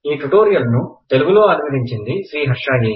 ఈ ట్యూటోరియల్ ని తెలుగు లో అనువదించింది శ్రీహర్ష ఏ